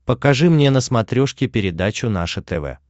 покажи мне на смотрешке передачу наше тв